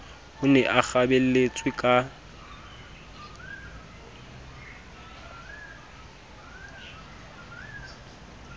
o ne a kgabelletswe ka